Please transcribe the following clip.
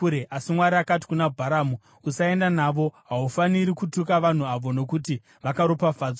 Asi Mwari akati kuna Bharamu, “Usaenda navo. Haufaniri kutuka vanhu avo, nokuti vakaropafadzwa.”